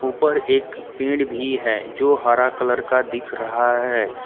ऊपर एक पेड़ भी है जो हरा कलर का दिख रहा है।